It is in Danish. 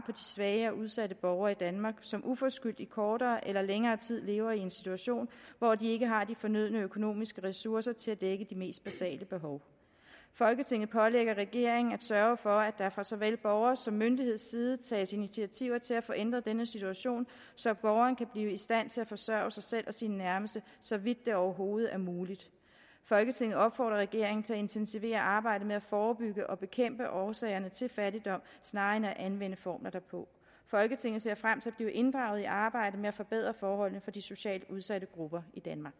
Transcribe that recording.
svage og udsatte borgere i danmark som uforskyldt i kortere eller længere tid lever i en situation hvor de ikke har de fornødne økonomiske ressourcer til at dække de mest basale behov folketinget pålægger regeringen at sørge for at der fra såvel borgers som myndigheds side tages initiativer til at få ændret denne situation så borgeren kan blive i stand til at forsørge sig selv og sine nærmeste så vidt det overhovedet er muligt folketinget opfordrer regeringen til at intensivere arbejdet med at forebygge og bekæmpe årsagerne til fattigdom snarere end at anvende formler derpå folketinget ser frem til at blive inddraget i arbejdet med at forbedre forholdene for de socialt udsatte grupper